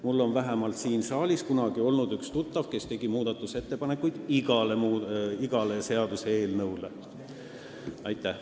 Mul oli kunagi siin saalis üks tuttav, kes tegi muudatusettepanekuid iga seaduseelnõu kohta.